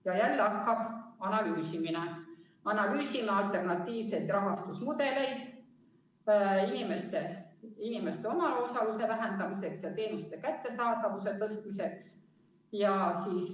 " Ja jälle hakkab analüüsimine: "Analüüsime alternatiivseid rahastusmudeleid inimeste omaosaluse vähendamiseks ja teenuste kättesaadavuse tõstmiseks.